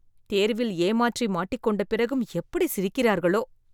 தேர்வில் ஏமாற்றி மாட்டிக்கொண்ட பிறகும் எப்படி சிரிக்கிறார்களோ!